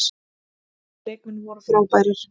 Mínir leikmenn voru frábærir.